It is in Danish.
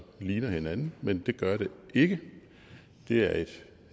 ligner hinanden men det gør det ikke det er et